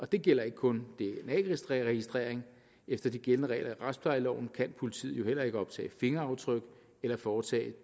det gælder ikke kun dna registrering efter de gældende regler i retsplejeloven kan politiet jo heller ikke optage fingeraftryk eller foretage